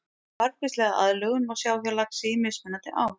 Margvíslega aðlögun má sjá hjá laxi í mismunandi ám.